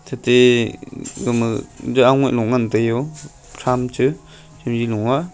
thatai gama jou aungaih lo ngantai yo tham che chemji lo a.